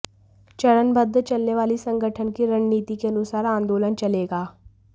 चरणबद्ध चलने वाली संगठन की रणनीति के अनुसार आन्दोलन चलेगा